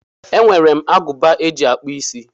E nwere m agụba eji akpụ isí.